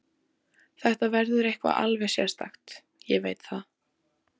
Þetta verður eitthvað alveg sérstakt, ég veit það.